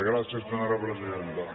gràcies senyora presidenta